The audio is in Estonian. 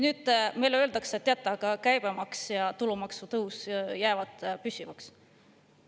Nüüd meile öeldakse: teate, aga käibemaksu ja tulumaksu tõus jäävad püsivaks.